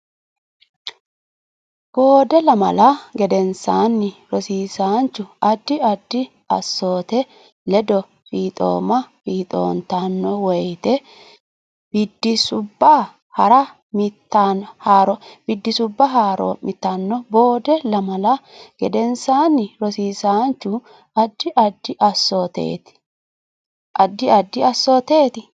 Boode lamala gedensaanni rosiisaanchu addi addi assoote ledo fiixoomanno fiixoontanno woyte biddissubba hara mitanno Boode lamala gedensaanni rosiisaanchu addi addi assoote.